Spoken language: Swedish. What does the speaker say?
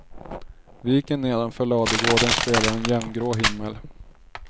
Viken nedanför ladugården speglar en jämngrå himmel.